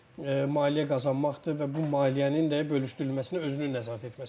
Maliyyə qazanmaqdır və bu maliyyənin də bölüşdürülməsinə özünün nəzarət etməsidir.